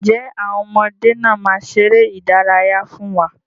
Ǹjẹ́ àwọn ọmọdé náà máa ṣeré ìdárayá fún wa?